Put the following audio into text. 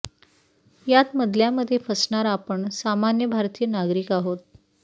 यात मधल्यामधे फसणार आपण सामान्य भारतीय नागरिक आहोत